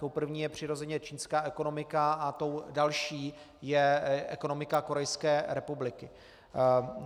Tou první je přirozeně čínská ekonomika a tou další je ekonomika Korejské republiky.